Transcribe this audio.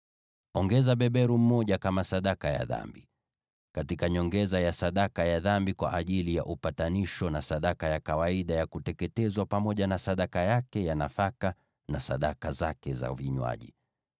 Ongeza beberu mmoja kama sadaka ya dhambi, katika nyongeza ya sadaka ya dhambi kwa ajili ya upatanisho, na sadaka ya kawaida ya kuteketezwa pamoja na sadaka yake ya nafaka, na sadaka zake za vinywaji.